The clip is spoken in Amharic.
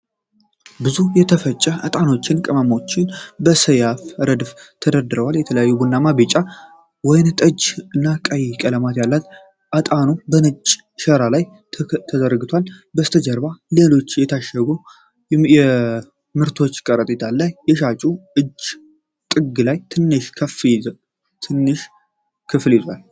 ብዙ የተፈጨ እጣኖችና ቅመሞች በሰያፍ ረድፎች ተደርድረዋል። የተለያዩ ቡናማ፣ ቢጫ፣ ወይንጠጃማ እና ቀይ ቀለማት ያለው እጣኑ በነጭ ሸራ ላይ ተከምረዋል። ከበስተጀርባ ሌሎች የታሸጉ ምርቶችና ከረጢቶች አሉ። የሻጩ እጅ ጥግ ላይ ትንሽ ክፍል ይዟል።